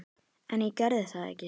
En ég gerði það ekki.